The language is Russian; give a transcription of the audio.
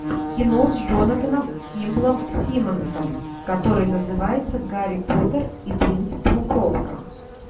кино с джонатаном кимблом симмонсом который называется гарри поттер и принц полукровка